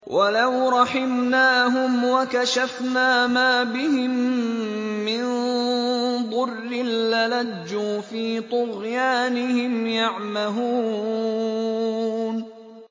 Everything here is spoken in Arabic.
۞ وَلَوْ رَحِمْنَاهُمْ وَكَشَفْنَا مَا بِهِم مِّن ضُرٍّ لَّلَجُّوا فِي طُغْيَانِهِمْ يَعْمَهُونَ